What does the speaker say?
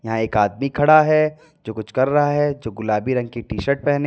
एक आदमी खड़ा है जो कुछ कर रहा है जो गुलाबी रंग की टी शर्ट पहने--